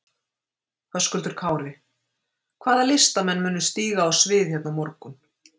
Höskuldur Kári: Hvaða listamenn munu stíga á svið hérna á morgun?